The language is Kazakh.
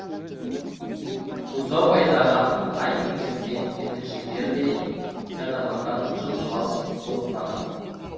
бұзау айдаған тай мінгескен жеткіншектер де жанарлардан жым жылас жылыстаған